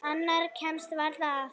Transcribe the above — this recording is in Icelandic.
Annað kemst varla að.